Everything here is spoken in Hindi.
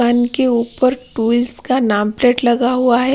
के ऊपर ट्विल्स का नाम प्लेट लगा हुआ है।